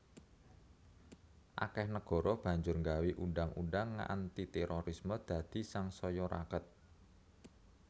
Akèh negara banjur nggawé undhang undhang anti térorisme dadi sangsaya raket